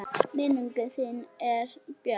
Minning þín er björt.